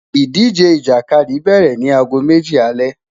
Idije Ijakadi bẹrẹ ni aago meji alẹ